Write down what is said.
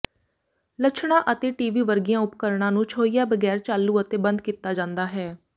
ਲੱਛਣਾਂ ਅਤੇ ਟੀਵੀ ਵਰਗੀਆਂ ਉਪਕਰਣਾਂ ਨੂੰ ਛੋਹਿਆ ਬਗੈਰ ਚਾਲੂ ਅਤੇ ਬੰਦ ਕੀਤਾ ਜਾਂਦਾ ਹੈ